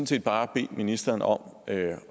set bare bede ministeren om at